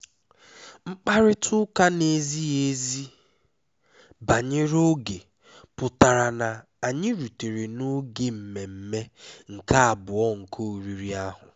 mkparịta ụka na-ezighi ezi banyere oge pụtara na anyị rutere n'oge mmemme nke abụọ nke oriri ahụ